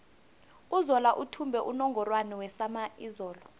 uzola uthumbe unungorwana wesama izolo